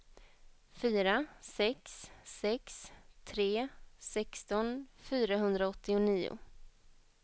fyra sex sex tre sexton fyrahundraåttionio